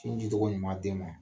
Sin di cogo ɲuman den ma